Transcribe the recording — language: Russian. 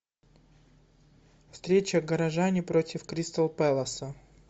встреча горожане против кристал пэласа